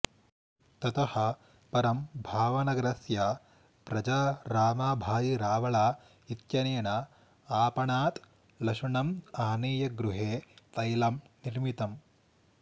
ततः परं भावनगरस्य प्रजारामभाई रावल इत्यनेन आपणात् लशुनम् आनीय गृहे तैलं निर्मितम्